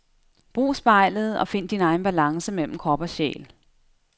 Brug spejlet og find din egen balance mellem krop og sjæl.